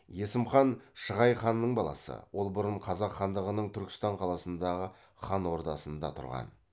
есім хан шығай ханның баласы ол бұрын қазақ хандығының түркістан қаласындағы хан ордасында тұрған